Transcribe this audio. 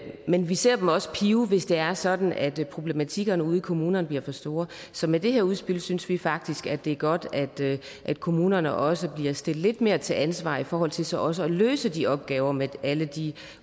men vi ser dem også pive hvis det er sådan at problematikkerne ude i kommunerne bliver for store så med det her udspil synes vi faktisk det er godt at kommunerne også bliver stillet lidt mere til ansvar i forhold til til også at løse de opgaver med alle de